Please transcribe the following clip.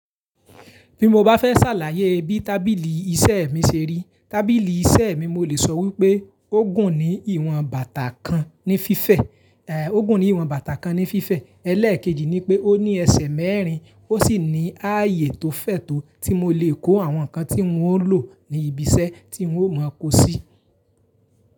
Bí mo bá fẹ́ ṣàlàyé bí tábìlì iṣẹ́ mi ṣe rí, tábìlì iṣẹ́ mi mo lè sọ wípé ó gùn ní ìwọ̀n bàtà kan ní fífẹ̀, ẹ́, ó gùn ní ìwọ̀n bàtà kan ní fífẹ̀. Ẹlẹ́ẹ̀kejì ni pé ó ní ẹsẹ̀ mẹ́rin, ó sì ní ààyè tó fẹ̀ tó tí mo lè kó àwọn nǹkan tí wun o lò ní ibi iṣẹ́ tí ń ò mọ kó sí.